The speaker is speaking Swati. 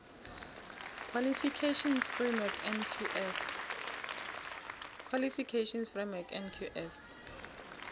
qualifications framework nqf